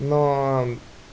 но